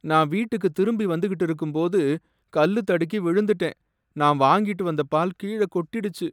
நான் வீட்டுக்கு திரும்பி வந்துக்கிட்டு இருக்கும்போது கல்லு தடுக்கி விழுந்துட்டேன், நான் வாங்கிட்டு வந்த பால் கீழ கொட்டிடுச்சு.